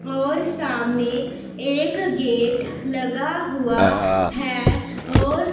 और सामने एक गेट लगा हुआ है और--